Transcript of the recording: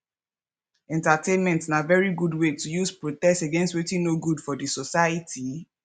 entertainment na very good way to use protest against wetin no good for di society